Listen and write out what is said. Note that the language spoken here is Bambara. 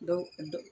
Dɔw